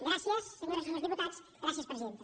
gràcies senyores i senyors diputats gràcies presidenta